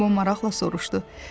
Qobo maraqla soruşdu.